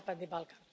Zapadni Balkan.